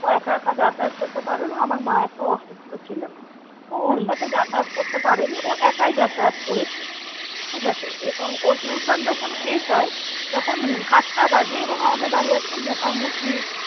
ও একা একা যাতায়াত করতে পারে না আমার মা একটু অসুস্থ ছিল। তো ওর সাথে যাতায়াতে করতে পারেনি ও একাই যাতায়াত করেছে, ঠিকাছে? এবং ও tuition যখন শেষ হয় তখন সাতটা বাজে এবং আমাদের বাড়ি আসতে মোটামুটি